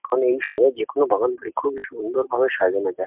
কারণ এইসময় যেকোনো বাগান বৃক্ষ কে খুব সুন্দরভাবে সাজানো যায়।